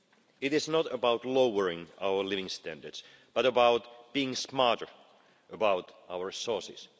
It is not about lowering our living standards but about being smarter about our resources.